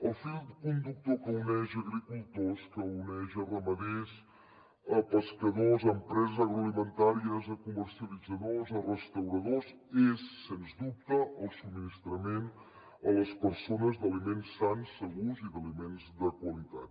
el fil conductor que uneix agricultors que uneix ramaders pescadors empreses agroalimentàries comercialitzadors restauradors és sens dubte el subministrament a les persones d’aliments sans segurs i de qualitat